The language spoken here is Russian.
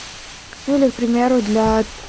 или к примеру для